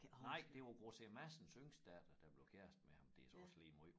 Nej det var Grosserer Madsens yngste datter der blev kærester med ham det så også lige måj